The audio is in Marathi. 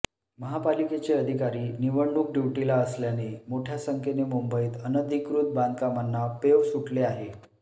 महापालिकेचे अधिकारी निवडणूक ड्युटीला असल्याने मोठ्या संख्येने मुंबईत अनधिकृत बांधकामांना पेव सुटले आहे